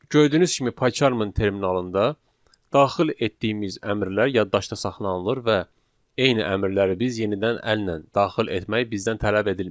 Gördüyünüz kimi PayCharm-ın terminalında daxil etdiyimiz əmrlər yaddaşda saxlanılır və eyni əmrləri biz yenidən əllə daxil etmək bizdən tələb edilmir.